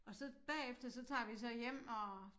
Og så bagefter så tager vi så hjem og